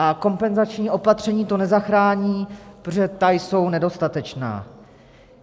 A kompenzační opatření to nezachrání, protože ta jsou nedostatečná.